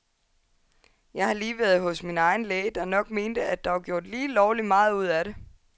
Jeg har lige været hos min egen læge, der nok mente at der var gjort lige lovligt meget ud af det.